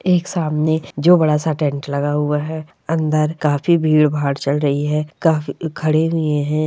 एक सामने जो बड़ा सा टेंट लगा हुआ है अंदर काफी भीड़ भाड़ चल रही है काफी खड़े भी है।